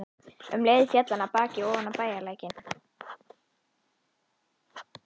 Um leið féll hann af baki ofan í bæjarlækinn.